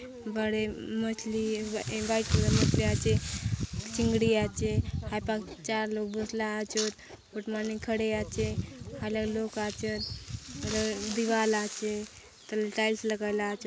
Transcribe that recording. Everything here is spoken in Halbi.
बड़े मछली वाइट कलर में भी आचे चिंगड़ी आचे हा प चार लोग बसला आचोत बट माने खड़े आचे हा ला लोग आचे र दीवाल आचे टाइल्स लागला आचे।